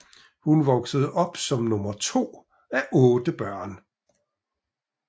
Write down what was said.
Hun voksede op som nummer to af otte børn